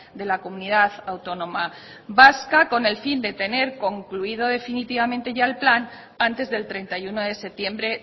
de la comunidad autónoma vasca con el fin de tener concluido definitivamente ya el plan antes del treinta y uno de septiembre